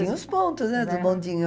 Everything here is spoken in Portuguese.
Tinha os pontos, né, de bondinho